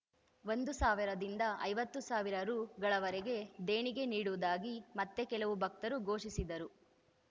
ಒಂದು ಸಾವಿರದಿಂದ ಐವತ್ತು ಸಾವಿರ ರುಗಳವರೆಗೆ ದೇಣಿಗೆ ನೀಡುವುದಾಗಿ ಮತ್ತೆ ಕೆಲವು ಭಕ್ತರು ಘೋಷಿಸಿದರು